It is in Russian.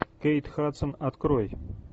кейт хадсон открой